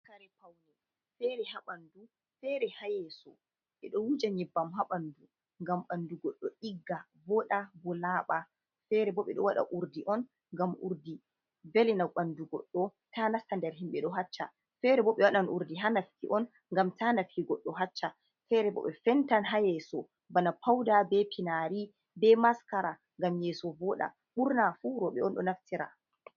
"Kare paune"fere ha ɓandu fere ha yeso ɓedo wujen nyebbam ha bandu ngam bandu goɗɗo ɗigga voɗa bo laba fere bo ɓeɗo wada urdi on ngam urdi velina ɓandu goddo ta nasta nder himɓe ɗo haccha fere bo ɓe waɗan urdi ha nafki on ngam ta nafki goɗɗo haccha fere bo ɓe fenta ha yeso bana pauda be finari be maskara ngam yeso voɗa ɓurna fu roɓe on ɗo naftira.